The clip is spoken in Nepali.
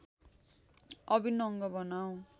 अभिन्न अङ्ग बनाऔँ